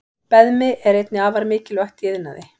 Beðmi er einnig afar mikilvægt í iðnaði.